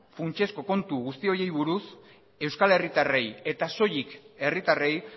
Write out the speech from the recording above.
funtsezko kontu guzti horiei buruz euskal herritarrei eta soilik herritarrei